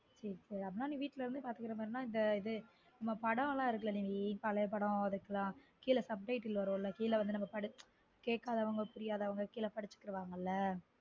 சேரி சேரி அப்பன நீ வீட்ல இருந்து பார்துக்குர மாதிரினா இந்த இது நம்ம படம்லா இருக்கதுல நிவீ பழைய படம் இருக்குலா கீழ sub title வரும்லா கேக்காதவங்க புரியாதவங்க கீழ படிச்சுக்குவங்கல